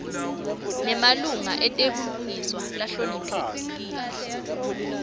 nemalunga etebulungiswa lahloniphekile